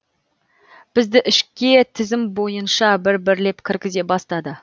бізді ішке тізім бой ынша бір бірлеп кіргізе бастады